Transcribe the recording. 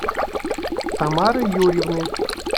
тамары юрьевны